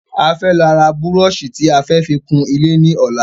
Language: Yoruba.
A fẹ́ lọ ra búrọ̀sì tí a fẹ fi kun ilé ní ọ̀la